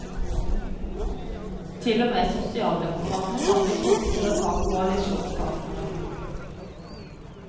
Til og med sosialdemokratene kan bli tvunget til å ta koalisjonspartnere.